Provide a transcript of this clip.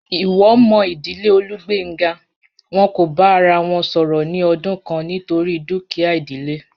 Iwo mo idile Olugbenga, won ko ba ara won soro ni odun kan nitori dukia idile.